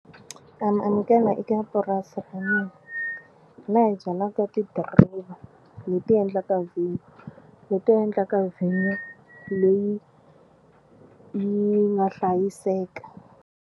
Na mi amukela eka purasi ra me la hi byalaka tidiriva leti endlaka vhinyo leti endlaka vhinyo leyi yi nga hlayiseka.